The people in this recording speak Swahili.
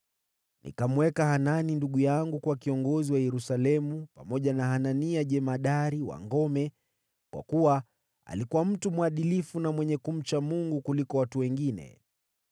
Nikamweka Hanani ndugu yangu kuwa kiongozi wa Yerusalemu, pamoja na Hanania jemadari wa ngome, kwa kuwa alikuwa mtu mwadilifu na mwenye kumcha Mungu kuliko watu wengine.